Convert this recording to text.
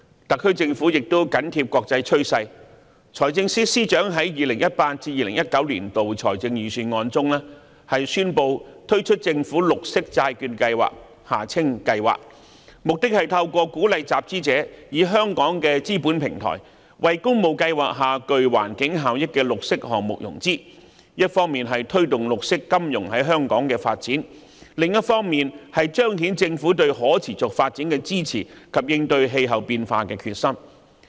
特區政府亦緊貼國際趨勢，財政司司長在 2018-2019 年度財政預算案中，宣布推出政府綠色債券計劃，目的是透過鼓勵集資者以香港的資本平台，為工務計劃下具環境效益的綠色項目融資，一方面推動綠色金融在香港的發展，而另一方面則彰顯政府對可持續發展的支持及應對氣候變化的決心。